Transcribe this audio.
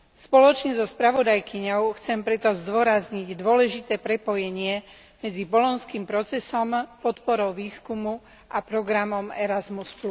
Spoločne so spravodajkyňou chcem preto zdôrazniť dôležité prepojenie medzi bolonským procesom, podporou výskumu a programom Erasmus.